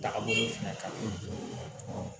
Daga bolo fɛnɛ kan